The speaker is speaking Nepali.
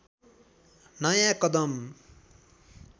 नयाँ कदम